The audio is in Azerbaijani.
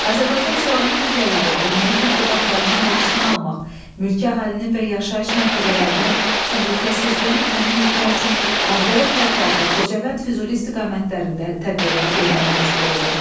Azərbaycan silahlı qüvvələri erməni təxribatlarının qarşısını almaq, mülki əhalinin və yaşayış məntəqələrinin təhlükəsizliyini təmin etmək üçün Ağdərə, Tərtər və Xocavənd-Füzuli istiqamətlərində tədbirlər görməyə məcbur oldu.